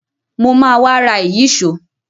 Mo ma wá ra ìyíṣòó.